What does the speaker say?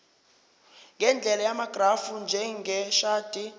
ngendlela yamagrafu njengeshadi